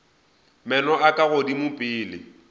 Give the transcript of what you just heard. meno a ka godimo pele